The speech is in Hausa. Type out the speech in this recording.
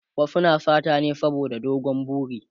wasu suna sata ne saboda dogon buri